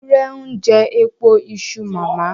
Ewúrẹ́ ń jẹ èpo iṣu màmá.